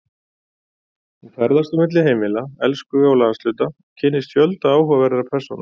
Hún ferðast á milli heimila, elskhuga og landshluta og kynnist fjölda áhugaverðra persóna.